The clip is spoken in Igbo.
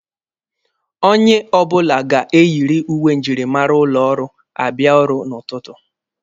Onye ọbụla ga-eyiriiri uwe njirimara ụlọ ọrụ abịa ọrụ n'ụtụtụ.